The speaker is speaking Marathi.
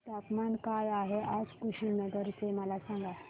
तापमान काय आहे आज कुशीनगर चे मला सांगा